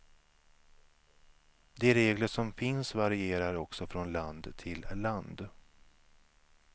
De regler som finns varierar också från land till land.